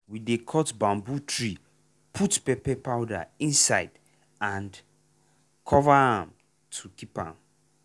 we dey cut bamboo tree put pepper powder inside and cover am to keep am.